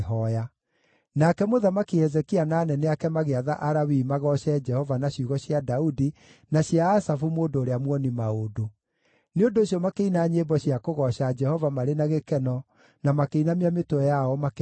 Nake Mũthamaki Hezekia na anene ake magĩatha Alawii magooce Jehova na ciugo cia Daudi na cia Asafu mũndũ ũrĩa muoni-maũndũ. Nĩ ũndũ ũcio makĩina nyĩmbo cia kũgooca Jehova marĩ na gĩkeno na makĩinamia mĩtwe yao makĩmũhooya.